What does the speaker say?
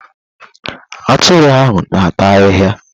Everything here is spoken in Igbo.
Atụrụ ahụ na ata ahịhịa.